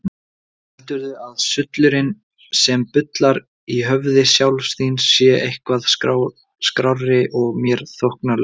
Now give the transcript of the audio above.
Heldurðu að sullurinn sem bullar í höfði sjálfs þín sé eitthvað skárri og mér þóknanlegri?